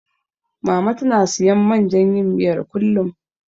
Mama tana siyan man jan yin miyar, kullum.